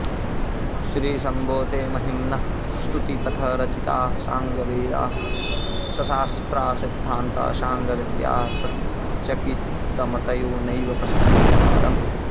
श्रीशम्भो ते महिम्नः स्तुतिपथरचिताः साङ्गवेदाः सशास्त्राः सिद्धान्ताः साङ्गविद्याः सचकितमतयो नैव पश्यन्ति पारम्